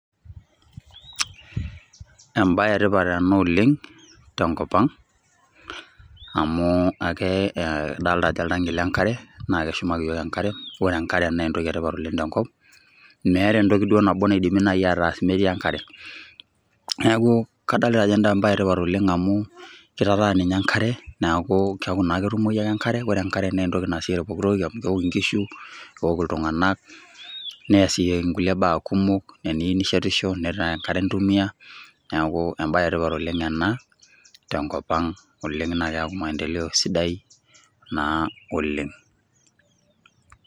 Ebae etipat ena oleng' tenkop ang', amu eke eh adolta ajo oltanki lenkare, na keshumaki yiok enkare. Ore enkare na entoki etipat oleng' tenkop. Meeta entoki duo nabo naidimi nai ataas metii enkare. Neeku kadolta ajo ebae etipat oleng' amu, kitataan ninye enkare, neeku keeku naa ketumoyu ake enkare, ore enkare na entoki nasishore pooki toki amu keeku naa keok inkishu, keok iltung'anak, neesieki nkulie baa kumok. Eniu nishetisho, netaa enkare intumia. Neeku ebae etipat oleng' ena, tenkop ang' oleng', na keyau maendeleo sidai, naa oleng'.